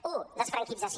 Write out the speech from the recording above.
u desfranquització